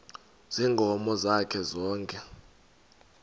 ziinkomo zakhe zonke